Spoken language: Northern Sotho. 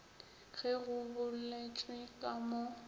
ge go boletšwe ka mo